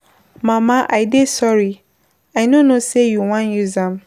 Mama I dey sorry I no know say you wan use am.